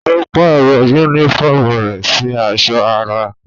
Ó pàrọ̀ yúnífọ̀mù rẹ̀ sì aṣọ ara